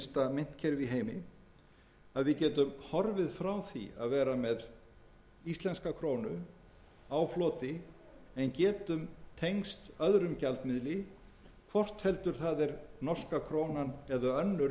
myntkerfi í heimi að við getum horfið frá því að vera með íslenska krónu á floti en getum tengst öðrum gjaldmiðli hvort heldur það er norska krónan eða önnur